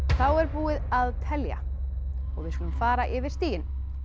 þá er búið að telja og við skulum fara yfir stigin